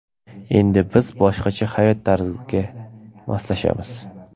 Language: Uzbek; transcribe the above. Endi biz boshqacha hayot tarziga moslashamiz.